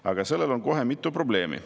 Aga sellel on kohe mitu probleemi.